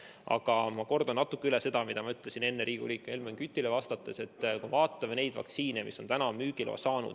Aga ma kordan üle selle, mida ma ütlesin enne Helmen Kütile vastates, et vaatame neid vaktsiine, mis on tänaseks müügiloa saanud.